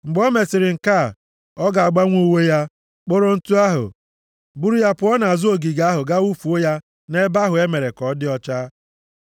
Mgbe o mesịrị nke a, ọ ga-agbanwe uwe ya, kporo ntụ ahụ, buru ya pụọ nʼazụ ogige ahụ gaa wufuo ya nʼebe ahụ e mere ka ọ dị ọcha.